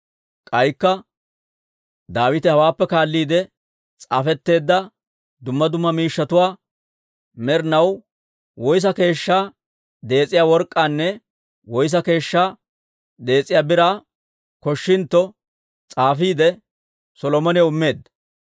K'aykka Daawite hawaappe kaalliide s'aafetteedda dumma dumma miishshatuwaa med'd'anaw woyssa keeshshaa dees'iyaa work'k'aanne woyssa keeshshaa dees'iyaa biraa koshshintto s'aafiide, Solomonaw immeedda.